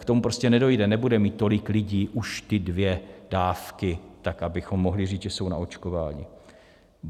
K tomu prostě nedojde, nebude mít tolik lidí už ty dvě dávky, tak abychom mohli říct, že jsou naočkováni.